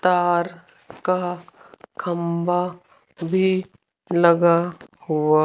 तार का खंबा भी लगा हुआ--